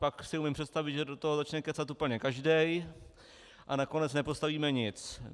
Pak si umím představit, že do toho začne kecat úplně každý, a nakonec nepostavíme nic.